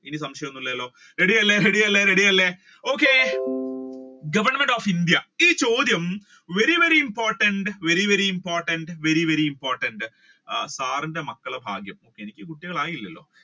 ഇനി സംശയം ഒന്നും ഇല്ലാലോ ready അല്ലെ ready അല്ലെ ready അല്ലെ okay, Government of India ഈ ചോദ്യം very very important, very very important, very very important, sir ന്റെ മക്കളുടെ ഭാഗ്യം എനിക്ക് കുട്ടികൾ ആയില്ലലോ